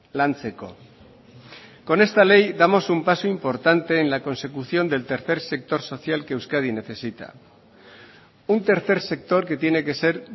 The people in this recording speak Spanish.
lantzeko con esta ley damos un paso importante en la consecución del tercer sector social que euskadi necesita un tercer sector que tiene que ser